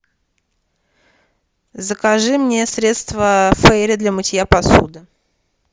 закажи мне средство фейри для мытья посуды